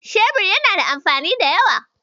Shebir yana da amfani da yawa.